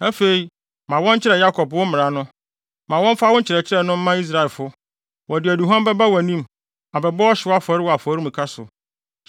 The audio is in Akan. Afei, ma wɔnkyerɛ Yakob wo mmara no. Ma wɔmfa wo nkyerɛkyerɛ no mma Israelfo. Wɔde aduhuam bɛba wʼanim Abɛbɔ ɔhyew afɔre wɔ afɔremuka so.